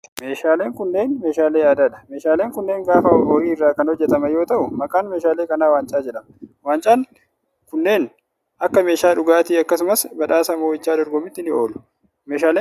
Meeshaaleen kunneen meeshaalee aadaa dha. Meeshaaleen kunneen gaafa horii irraa kan hojjataman yoo ta'u, maqaan meeshaalee kanaa waancqq jedhama. Waancaan kunneen akka meeshaa dhugaatii akkasumas badhaasa mo'icha dorgommiitti ni oolu. Meeshaaleen kunneen bareedoo dha.